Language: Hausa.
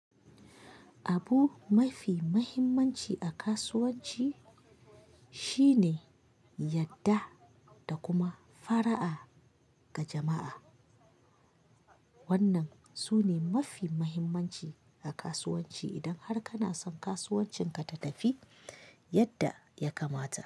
Abu mafi muhimmanci a kasuwanci shine yadda da kuma fara'a ga jama'a. Wannan sune mafi mahimmanci a kasuwanci idan har kana son kasuwancinka ta tafi yadda ya kamata.